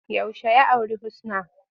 Yaushe ya auri Husna?